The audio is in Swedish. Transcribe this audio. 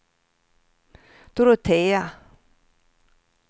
Dorotea